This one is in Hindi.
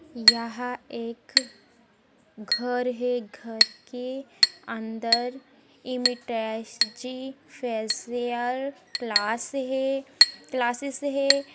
यहाँ एक घर है घर के अंदर फेसियल क्लास है क्लासेस है।